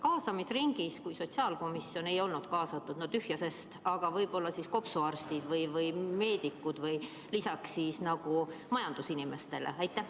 Kas kaasamisringis olid – kui sotsiaalkomisjon ei olnud kaasatud, no tühja sest – võib-olla siis kopsuarstid või muud meedikud lisaks majandusinimestele?